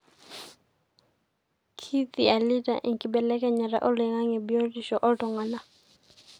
kithialita enkibelekenyata oloingange biotisho oltungana.